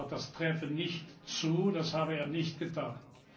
Er hat gesagt, das träfe nicht zu, das habe er nicht getan.